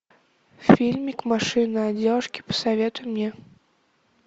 фильмик машина от девушки посоветуй мне